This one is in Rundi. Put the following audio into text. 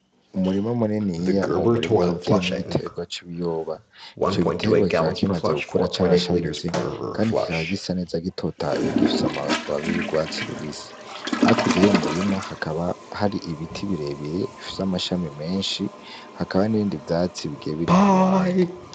Umurima muniniya, uwo murima ukaba uteyemwo igiterwa c'ibiyoba. Ico giterwa kikaba kimaze gukura carashamitse, kandi kikaba gisa neza gitotahaye. Gifise amababi y'urwatsi rubisi. Hakurya y'uwo murima hakaba hari ibiti birebire bifise amashami menshi. Hakaba hari n'ibindi vyatsi bigiye biri ku ruhande.